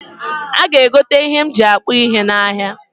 A ga egote ihe m ji akpụ ihe n'ahịa